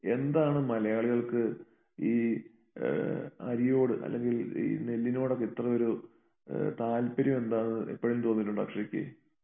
എന്താണ് മലയാളികൾക്ക് ഈ ഏഹ് അരിയോട് അല്ലെങ്കിൽ ഈ നെല്ലിനോടൊക്കെ ഇത്ര ഒരു ഏഹ് താല്പര്യം എന്താന്ന് എപ്പഴേലും തോന്നിയിട്ടുണ്ടോ അക്ഷരക്ക്?